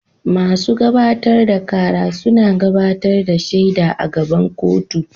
Masu gabatar da kara suna gabatar da shaida a gaban kotu.